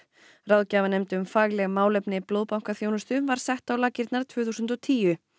ráðgjafanefnd um fagleg málefni blóðbankaþjónustu var sett á laggirnar tvö þúsund og tíu